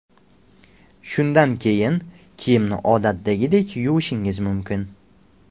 Shundan keyin, kiyimni odatdagidek yuvishingiz mumkin.